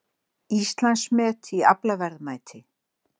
Íslandsmet í aflaverðmæti